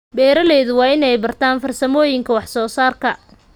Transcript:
Beeralayda waa inay bartaan farsamooyinka wax soo saarka.